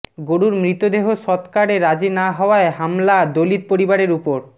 গরুর মৃতদেহ সৎকারে রাজি না হওয়ায় হামলা দলিত পরিবারের উপর